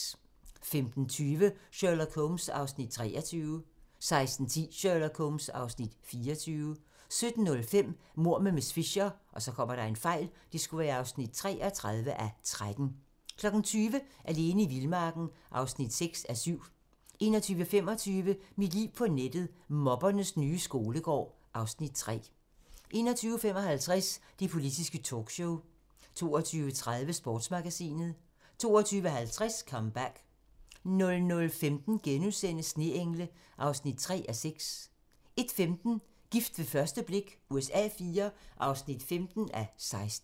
15:20: Sherlock Holmes (23:45) 16:10: Sherlock Holmes (24:45) 17:05: Mord med miss Fisher (33:13) 20:00: Alene i vildmarken (6:7) 21:25: Mit liv på nettet: Mobbernes nye skolegård (Afs. 3) 21:55: Det politiske talkshow 22:30: Sportsmagasinet 22:50: Comeback 00:15: Sneengle (3:6)* 01:15: Gift ved første blik USA IV (15:16)